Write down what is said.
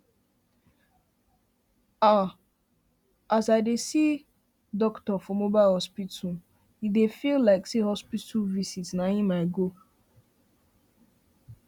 um ah as i dey see doctorfor mobile hospital feels like say hospital visit na him i go